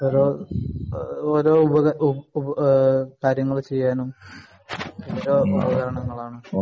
ഓരോ കാര്യങ്ങൾ ചെയ്യാനും